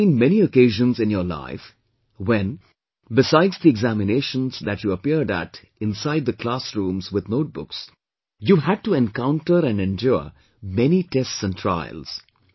There must have been many occasions in your life, when, besides the examinations that you appeared at inside the classrooms with notebooks, you had to encounter and endure many tests and trials